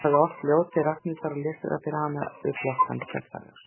Hann hafði ort ljóð til Ragnhildar og lesið það fyrir hana við flöktandi kertaljós.